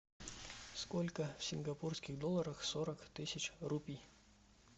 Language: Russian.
сколько в сингапурских долларах сорок тысяч рупий